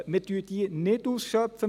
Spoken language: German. Wir schöpfen diese nicht aus.